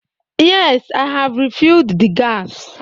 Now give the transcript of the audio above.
Yes, I have refilled the gas.